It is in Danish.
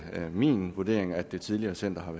min vurdering at det tidligere center har